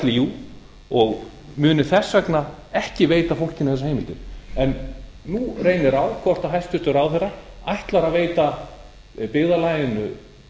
líú og muni þess vegna ekki veita fólkinu þessar heimildir en nú reynir á hvort hæstvirtur ráðherra ætlar að veita byggðarlaginu